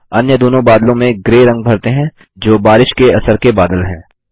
अन्य दोनों बादलों में ग्रे रंग भरते हैं जो बारिश के असर के बादल हैं